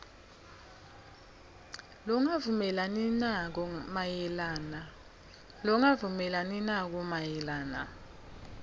longavumelani nako mayelana